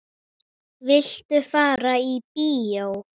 Viltu fara í bíó?